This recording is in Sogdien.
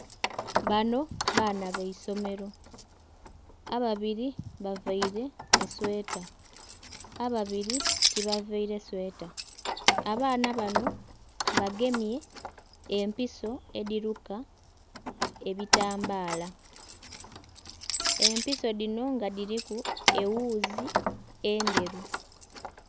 Bano baan baisomero, ababiri bavaire esweta ababiri tiba vaire sweeta. Abaana bano bagemye empiso edhiruka ebitambala, empiso dhino nga dhiriku ewuuzi endheru.